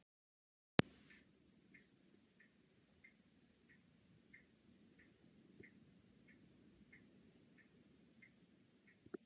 Þar sem blárefir og villta tófan eru sömu tegundar geta þau átt frjó afkvæmi innbyrðis.